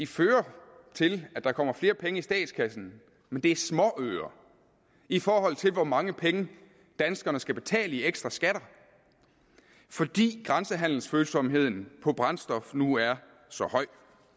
fører til at der kommer flere penge i statskassen men det er småøre i forhold til hvor mange penge danskerne skal betale i ekstra skatter fordi grænsehandelsfølsomheden på brændstof nu er så høj